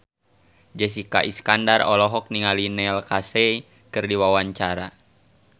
Jessica Iskandar olohok ningali Neil Casey keur diwawancara